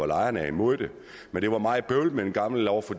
lejerne er imod men det var meget bøvlet med den gamle lov for